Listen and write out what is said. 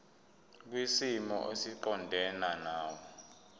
kwisimo esiqondena nawe